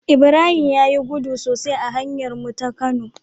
Ibrahim yayi gudu sosai a hanyar mu ta kano